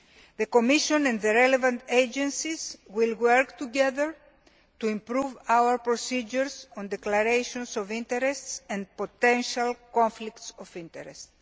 The Commission and the relevant agencies will work together to improve our procedures on declarations of interests and potential conflicts of interest.